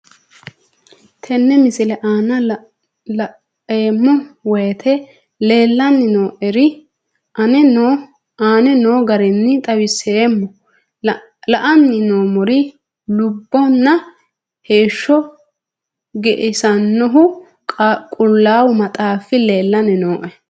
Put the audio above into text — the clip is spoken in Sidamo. Tenne misile aana laeemmo woyte leelanni noo'ere aane noo garinni xawiseemmo. La'anni noomorri lubbonna heesho ge'issanohu Qullaawu maxxaafi leelanni nooe.